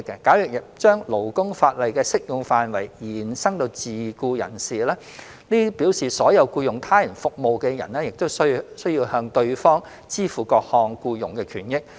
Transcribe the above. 假如把勞工法例的適用範圍延伸至自僱人士，這表示所有僱用他人服務的人也需向對方支付各項僱傭權益。